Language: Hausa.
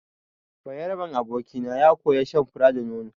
Bayaraben abokina ya koya shan fura da nono.